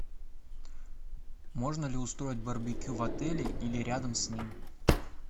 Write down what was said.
можно ли устроить барбекю в отеле или рядом с ним